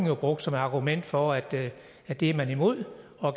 jo brugt som argument for at at det er man imod og at